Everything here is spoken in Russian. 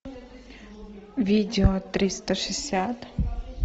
видео триста шестьдесят